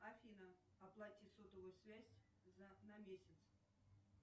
афина оплати сотовую связь на месяц